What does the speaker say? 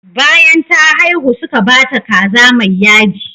Bayan ta haihu suka ba ta kaza mai yaji.